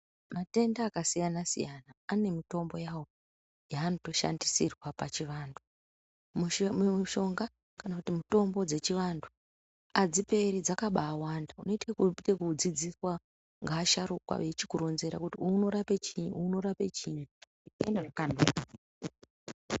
Matenda akasiyana siyana ane mitombo yawo yeanotoshandisirwa pachivantu. Mushonga kana kuti mitombo dzechivantu, adziperi, dzakabaawanda, unoite ekudzidziswa ngeasharukwa eichikuronzera kuti uwu unorape chii, uwu unorape chinyi zveienda zvakandodaro.